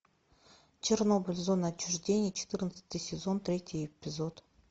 чернобыль зона отчуждения четырнадцатый сезон третий эпизод